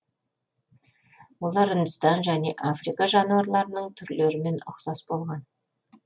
олар үндістан және африка жануарларының түрлерімен ұқсас болған